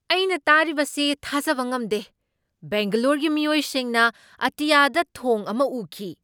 ꯑꯩꯅ ꯇꯥꯔꯤꯕꯁꯤ ꯊꯥꯖꯕ ꯉꯝꯗꯦ! ꯕꯦꯡꯒꯂꯣꯔꯒꯤ ꯃꯤꯑꯣꯏꯁꯤꯡꯅ ꯑꯇꯤꯌꯥꯗ ꯊꯣꯡ ꯑꯃ ꯎꯈꯤ ꯫